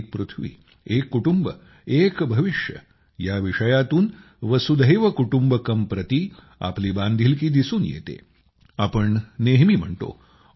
एक पृथ्वी एक कुटुंब एक भविष्य one earth one family one future या विषयातून वसुधैव कुटुम्बकमप्रती आपली बांधिलकी दिसून येते आपण नेहमी म्हणतो